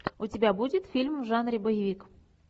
у тебя будет фильм в жанре боевик